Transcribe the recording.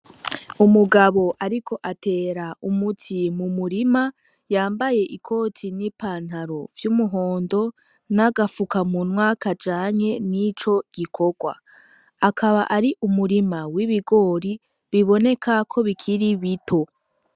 Umugabo ariko atera umuti mu murima yambaye ikoti n'ipantaro vy'umuhondo n'agapfukamunwa kajanye n'ico gikorwa. Akaba ari umurima w'ibigori biboneka ko bikiri bito.